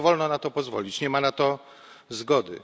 Nie wolno na to pozwolić, nie ma na to zgody.